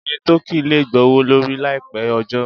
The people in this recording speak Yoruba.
Iye tọ́kì lè gbowó lórí láì pẹ́ ọjọ́